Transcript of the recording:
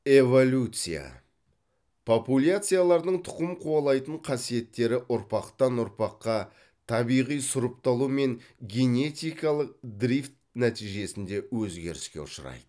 эволюция популяциялардың тұқым қуалайтын қасиеттері ұрпақтан ұрпаққа табиғи сұрыпталу мен генетикалық дрифт нәтижесінде өзгеріске ұшырайды